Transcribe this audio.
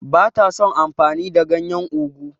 Ba ta son amfani da ganyen ugwu.